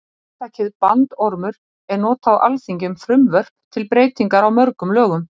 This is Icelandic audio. hugtakið bandormur er notað á alþingi um frumvörp til breytinga á mörgum lögum